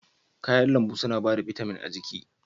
Kayan lambu suna ba da bitamin ga jiki